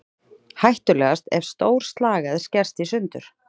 Hættulegast er ef stór slagæð skerst í sundur.